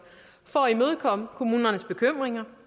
for at imødekomme kommunernes bekymringer